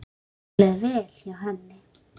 Okkur leið vel hjá henni.